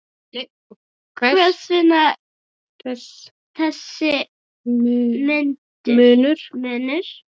Hvers vegna þessi munur?